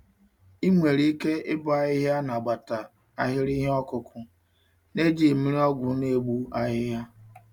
Ị nwere ike ịbọ ahịhịa nagbata ahịrị ihe okụkụ naejighị mmiri ọgwụ n'egbu ahịhịa.